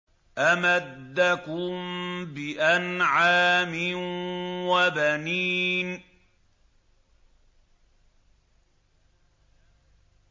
أَمَدَّكُم بِأَنْعَامٍ وَبَنِينَ